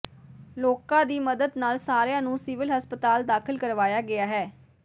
ਲੋਕਾਂ ਦੀ ਮਦਦ ਨਾਲ ਸਾਰਿਆਂ ਨੂੰ ਸਿਵਲ ਹਸਪਤਾਲ ਦਾਖ਼ਲ ਕਰਵਾਇਆ ਗਿਆ ਹੈ